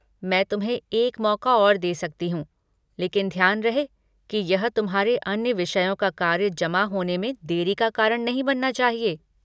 मैं तुम्हें एक मौक़ा और दे सकती हूँ, लेकिन ध्यान रहे कि यह तुम्हारे अन्य विषयों का कार्य जमा होने में देरी का कारण नहीं बनना चाहिए।